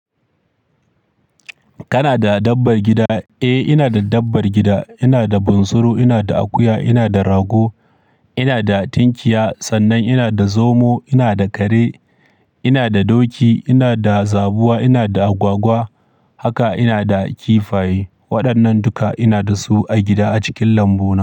Kana da dabbar gida? Eh, ina da dabbar gida. Ina da bunsuru, ina da akuya, ina da rago, ina da tinkiya, sannan ina da zomo, ina da kare, ina da doki, ina da zabuwa, ina da agwagwa haka ina da kifaye. Waɗannan duka ina da su a gida a cikin lambu na.